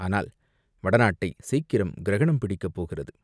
ஆனால் வடநாட்டைச் சீக்கிரம் கிரகணம் பிடிக்கப் போகிறது.